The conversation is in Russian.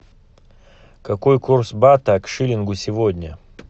какой курс бата к шиллингу сегодня